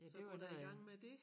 Ja det var da